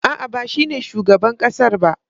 A'a, ba shine shugaban ƙasar ba.